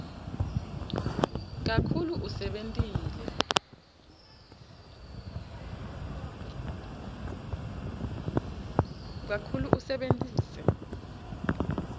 kakhulu usebentise